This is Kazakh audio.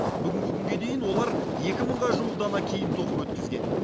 бүгінгі күнге дейін олар екі мыңға жуық дана киім тоқып өткізген